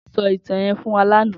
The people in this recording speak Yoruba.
Tolani sò itàn yèn fún wà làná